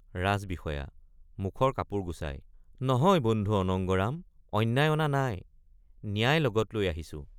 ৰাজবিষয়া— মুখৰ কাপোৰ গুচা য় নহয় বন্ধু অনঙ্গৰাম অন্যায় অনা নাই ন্যায় লগত লৈ আহিছো।